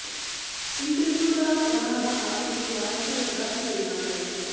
interview ਦੌਰਾਨ ਉਨ੍ਹਾਂ ਦਾ ਆਤਮ ਵਿਸ਼ਵਾਸ ਝਲਕਦਾ ਦਿਸ ਰਿਹਾ ਹੈ